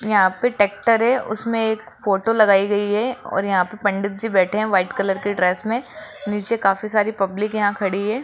यहां पे ट्रैक्टर है उसमें एक फोटो लगाई गई है और यहां पे पंडित जी बैठे हैं व्हाइट कलर की ड्रेस में नीचे काफी सारी पब्लिक यहां खड़ी है।